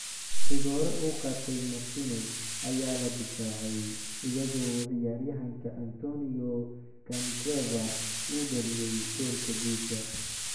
Rigoore uu qaaday Martinez ayaa la difaacay, iyadoo ciyaaryahanka Antonio Candreva uu dhaliyay goolka guusha.